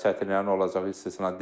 çətinliklərin olacağı istisna deyil.